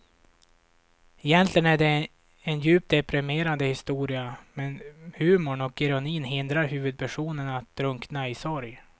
Egentligen är det en djupt deprimerande historia men humorn och ironin hindrar huvudpersonen att drunkna i sorg.